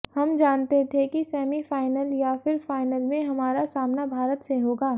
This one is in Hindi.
हम जानते थे कि सेमीफाइनल या फिर फाइल में हमारा सामना भारत से होगा